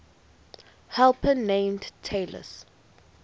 helper named talus